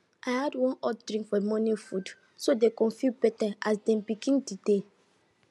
i add one hot drink for the morning food so dem go feel better as dem begin the day